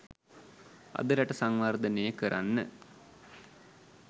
අද රට සංවර්ධනය කරන්න